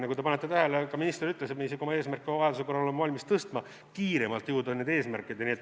Nagu te panite tähele, ka minister ütles, et me isegi oma eesmärke vajaduse korral oleme valmis tõstma, kiiremalt jõudma nende eesmärkideni.